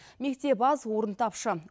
мектеп аз орын тапшы